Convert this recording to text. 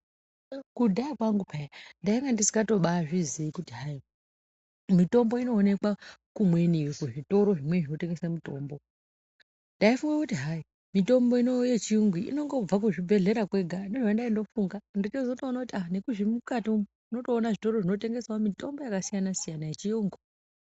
Kudhaya kwangu peya ndanga ndisingazviziyi kuti mitombo inoonekwa kumweni kuzvitoro zvinotengeswa mitombo ndaifunga kuti mitombo yechiyungu inobva kuzvibhedhlera kwega ndozvandaindofunga handina kuziya nemukati umu unotoona zvitoro zvinotengesawo mitombo yakasiyana -siyana yechiyungu.